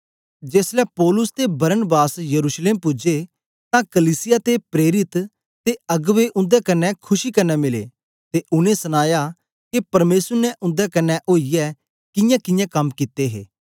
जेसलै पौलुस ते बरनाबास यरूशलेम पूजे तां कलीसिया ते प्रेरित ते अगबें उन्दे कन्ने खुशी कन्ने मिले ते उनै सनाया के परमेसर ने उन्दे कन्ने ओईयै कियांकियां कम कित्ते हे